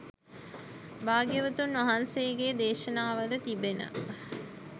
භාග්‍යවතුන් වහන්සේගේ දේශනාවල තිබෙන